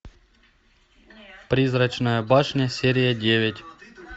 призрачная башня серия девять